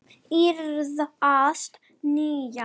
Víðars niðja.